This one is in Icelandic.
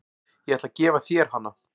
Ég ætla að gefa þér hana.